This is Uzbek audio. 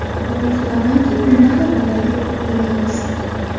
Umid qilamanki, bunda xatolarga yo‘l qo‘ymaymiz.